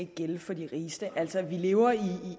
gælde for de rigeste altså vi lever her